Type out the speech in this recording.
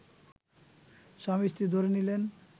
স্বামী-স্ত্রী ধরে নিলেন